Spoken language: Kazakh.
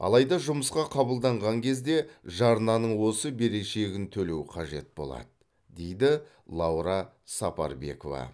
алайда жұмысқа қабылданған кезде жарнаның осы берешегін төлеу қажет болады дейді лаура сапарбекова